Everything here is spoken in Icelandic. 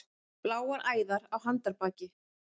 Bláar æðar á handarbaki.